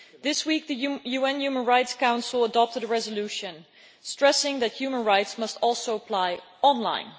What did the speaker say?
This week, the UN Human Rights Council adopted a resolution stressing that human rights must also apply on line.